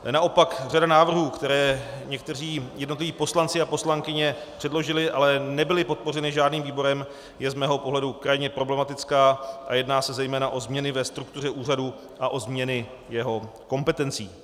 Naopak řada návrhů, které někteří jednotliví poslanci a poslankyně předložili, ale nebyly podpořeny žádným výborem, je z mého pohledu krajně problematická a jedná se zejména o změny ve struktuře úřadu a o změny jeho kompetencí.